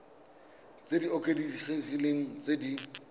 tse di oketsegileng tse di